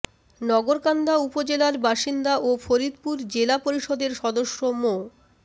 নগরকান্দা উপজেলার বাসিন্দা ও ফরিদপুর জেলা পরিষদের সদস্য মো